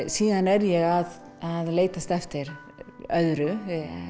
síðan er ég að leitast eftir öðru